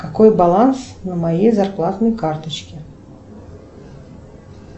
какой баланс на моей зарплатной карточке